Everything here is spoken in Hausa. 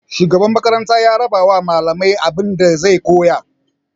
Shugaban makarantar ya rabawa malaman abinda zai koyar.